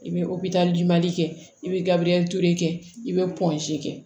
I bɛ kɛ i bɛ gabiriyɛn ture kɛ i bɛ kɛ